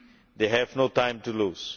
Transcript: They have no time to lose.